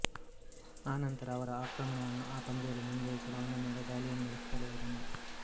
ಆನಂತರ ಅವರ ಆಕ್ರಮಣವನ್ನು ಆ ಪಂದ್ಯದಲ್ಲಿ ಮುಂದುವರೆಸಲು ಅವನ ಮೇಲೆ ದಾಳಿಯನ್ನು ನಡೆಸುತ್ತಲೇ ಹೋದನು